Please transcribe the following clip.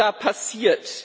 Was ist da passiert?